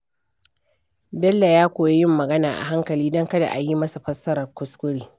Bello ya koyi yin magana a hankali don kada a yi masa fassarar kuskure.